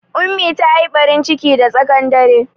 Ummi ta yi ɓarin ciki da tsaƙan dare